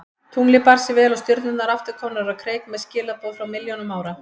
Tunglið bar sig vel og stjörnurnar aftur komnar á kreik með skilaboð frá milljónum ára.